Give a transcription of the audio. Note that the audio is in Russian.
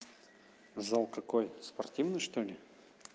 зал какой спортивный что-ли